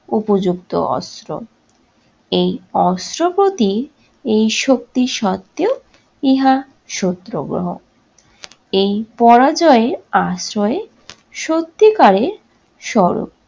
উপযুক্ত অস্ত্র। এই অস্ত্র প্রতি এই শক্তি সত্ত্বেও ইহা শত্রগ্রহ এই পরাজয়ের আশ্রয়ে সত্যিকারের স্বরূপ।